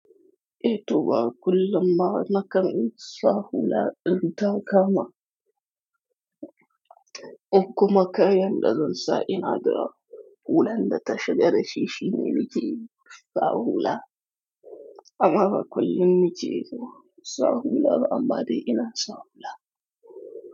Eh to ba kullum ba na kan sa hula idan ta kama. Koh kuma kayan da zan sa ina da hulan da ta shiga dashi ne muke sa hula. Amma ba kullum muke sa hula ba amma dai ina sa hula.